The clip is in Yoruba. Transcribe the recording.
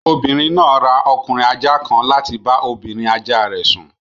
Obìnrin náà ra ọkùnrin ajá kan láti bá obìnrin ajá rẹ̀ sùn